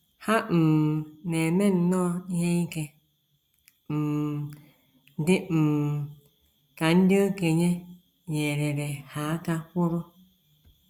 Ha um na - eme nnọọ ihe ike, um dị um ka ndị okenye nyeere ha aka kwuru.